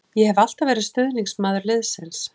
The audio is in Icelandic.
Ég hef alltaf verið stuðningsmaður liðsins.